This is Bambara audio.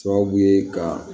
Sababu ye ka